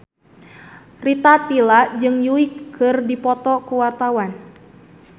Rita Tila jeung Yui keur dipoto ku wartawan